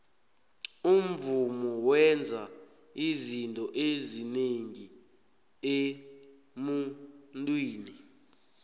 umvumo wenza izinto ezinengi emuntwini